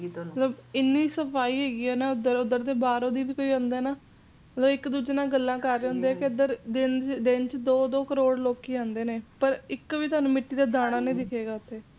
ਮਤਲਬ ਇੰਨੀ ਸਫ਼ਾਈ ਹੈਗੀ ਏ ਨਾ ਏਧਰ ਓਧਰ ਬਾਹਰੋ ਵੀ ਕੋਈ ਆਂਦਾ ਹੈਗਾ ਏ ਨਾ ਇਕ ਦੂਜੇ ਨਾਲ ਗੱਲ ਕਰ ਰਹੇ ਹੁੰਦੇ ਨੇ ਦਿਨ ਚ ਦੋ ਦੋ ਕਰੋੜ ਲੋਕੀ ਆਂਦੇ ਨੇ ਤੇ ਇਕ ਵੀ ਮਿੱਟੀ ਦਾ ਦਾਣਾ ਨਹੀ ਦਿਖੇਗਾ ਤੁਹਾਨੂੰ ਓਥੇ